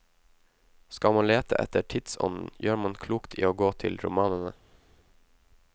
Skal man lete etter tidsånden, gjør man klokt i å gå til romanene.